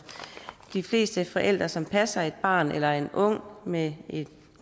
de fleste forældre som passer et barn eller en ung med en